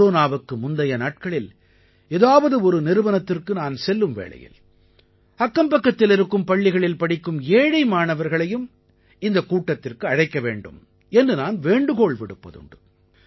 கொரோனாவுக்கு முந்தைய நாட்களில் ஏதாவது ஒரு நிறுவனத்திற்கு நான் செல்லும் வேளையில் அக்கம்பக்கத்தில் இருக்கும் பள்ளிகளில் படிக்கும் ஏழை மாணவர்களையும் இந்தக் கூட்டத்திற்கு அழைக்க வேண்டும் என்று நான் வேண்டுகோள் விடுப்பதுண்டு